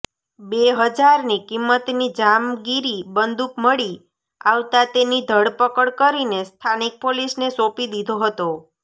ર હજારની કિંમતની જામગીરી બંદુક મળી આવતાં તેની ધરપકડ કરીને સ્થાનિક પોલીસને સોપી દીધો હતો